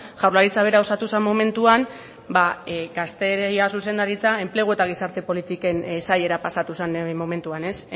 jaurlaritza bera osatu zen momentuan gazteria zuzendaritza enplegu eta gizarte politiken sailera pasatu zen momentuan ez